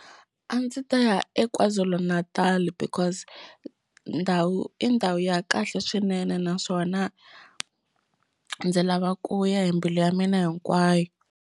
A ndzi ta ya eKwa-Zulu Natal because ndhawu i ndhawu ya kahle swinene naswona ndzi lava ku ya hi mbilu ya mina hinkwayo.